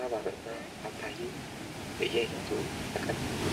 ሐባብ እና ፓፓዬ በየአይነቱ ተከምረዋል።